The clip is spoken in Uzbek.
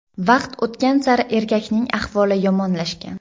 Vaqt o‘tgan sari erkakning ahvoli yomonlashgan.